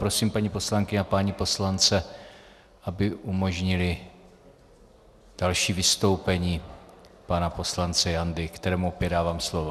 Prosím paní poslankyně a pány poslance, aby umožnili další vystoupení pana poslance Jandy, kterému opět dávám slovo.